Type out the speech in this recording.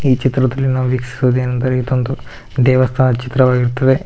ಈ ಚಿತ್ರದಲ್ಲಿ ನಾವು ವೀಕ್ಷಿಸುವುದೇನೆಂದರೆ ಇದೊಂದು ದೇವಸ್ಥಾನದ ಚಿತ್ರವಾಗಿರುತ್ತದೆ ಇದರ--